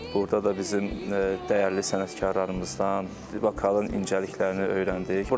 Burda da bizim dəyərli sənətkarlarımızdan vokalın incəliklərini öyrəndik.